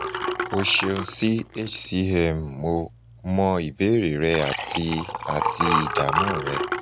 o ṣeun si hcmmo mọ ìbéèrè rẹ ati ati ìdààmú rẹ